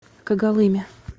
когалыме